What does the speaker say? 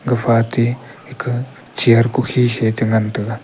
gafa ate ake chair kukhe se che ngan taiga.